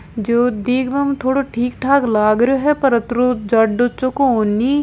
जो दिखबा में थोड़ो ठीकठाक लाग रहियो है पर अतरो जाडो चोखो कोनी।